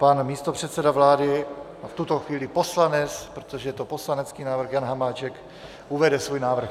Pan místopředseda vlády a v tuto chvíli poslanec, protože je to poslanecký návrh, Jan Hamáček uvede svůj návrh.